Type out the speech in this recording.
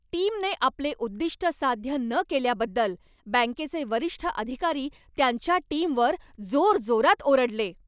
टीमने आपले उद्दिष्ट साध्य न केल्याबद्दल बँकेचे वरिष्ठ अधिकारी त्यांच्या टीमवर जोरजोरात ओरडले.